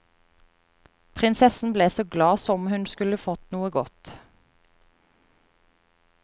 Prinsessen ble så glad som hun skulle fått noe godt.